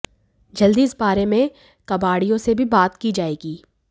जल्द ही इस बारे में कबाडि़यों से भी बात की जाएगी